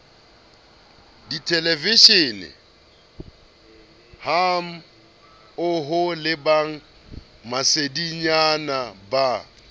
dithelevishenehammoho le ba masedinyana ba